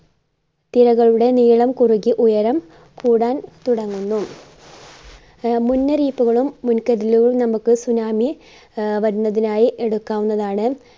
തിരകളുടെ നീളം കുറഞ്ഞ് ഉയരം കൂടാൻ തുടങ്ങുന്നു. ആ മുന്നറിയിപ്പുകളും മുൻകരുതലുകളും നമുക്ക് tsunami ആഹ് വരുന്നതിനായി എടുക്കാവുന്നതാണ്.